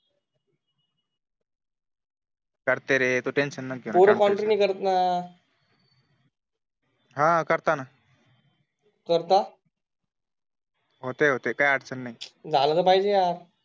करते रे तू टेंशन नको घेऊ पोर कॉन्ट्री नाही करत ना करता. होते होते काही अडचण नाही. झालं तर पाहिजे यार